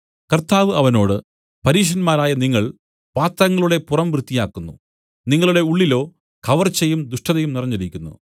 കർത്താവ് അവനോട് പരീശന്മാരായ നിങ്ങൾ പാത്രങ്ങളുടെ പുറം വൃത്തിയാക്കുന്നു നിങ്ങളുടെ ഉള്ളിലോ കവർച്ചയും ദുഷ്ടതയും നിറഞ്ഞിരിക്കുന്നു